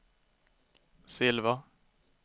silver